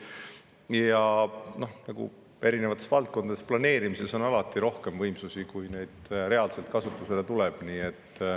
Ja noh, erinevates valdkondades on planeerimises alati rohkem võimsusi, kui neid reaalselt kasutusele tuleb.